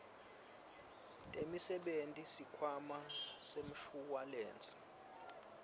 temisebenti sikhwama semshuwalensi